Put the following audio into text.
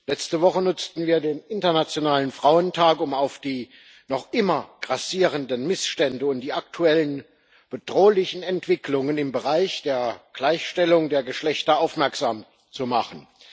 Letzte Woche nutzten wir den internationalen Frauentag, um auf die noch immer grassierenden Missstände und die aktuellen bedrohlichen Entwicklungen im Bereich der Gleichstellung der Geschlechter aufmerksam zu machen.